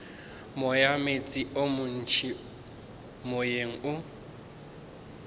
moyameetse o montši moyeng o